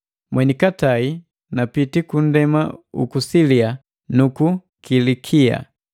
Mwenikatae napiti ku ndema uku Silia nuku Kilikia.